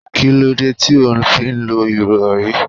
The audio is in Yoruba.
Kí lóde ti óò fí lọ ìrọri?